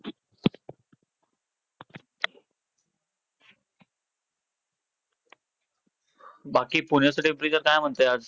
नागपूर, नाशिक हे सर्व मोठे मोठे शहर आहेत .वेगवेगळे हे सगळे शहर वेगवेगळ्या कारणासाठी famous त famous आहेत. जसे की पुण्यामध्ये शै शिक्षणासाठी खूप famous आहेत.